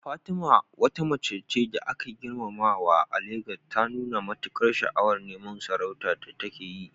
Fatima, wata mace da ake girmamawa a Legas, ta nuna matukar sha'awar neman sarauta da take yi.